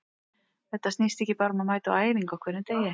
Þetta snýst ekki bara um að mæta á æfingu á hverjum degi.